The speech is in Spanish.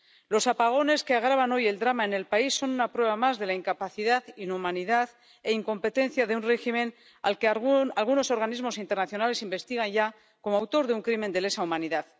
Los apagones, que agravan hoy el drama en el país, son una prueba más de la incapacidad, inhumanidad e incompetencia de un régimen al que algunos organismos internacionales investigan ya como autor de un crimen de lesa humanidad.